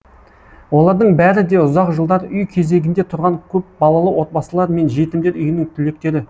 олардың бәрі де ұзақ жылдар үй кезегінде тұрған көпбалалы отбасылар мен жетімдер үйінің түлектері